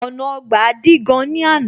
Ọ̀nà Ọgbà dí gan ní àná